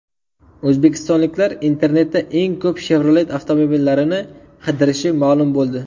O‘zbekistonliklar internetda eng ko‘p Chevrolet avtomobillarini qidirishi ma’lum bo‘ldi.